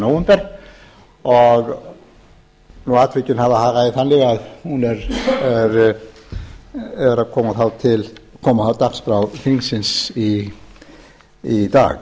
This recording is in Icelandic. nóvember og atvikin hafa hagað því þannig að hún er að koma á dagskrá þingsins í dag